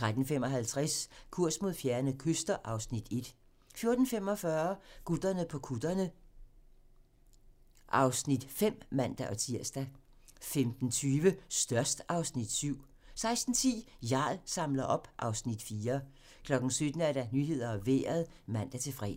13:55: Kurs mod fjerne kyster (Afs. 1) 14:45: Gutterne på kutterne (Afs. 5)(man-tir) 15:20: Størst (Afs. 7) 16:10: Jarl samler op (Afs. 4) 17:00: Nyhederne og Vejret (man-fre)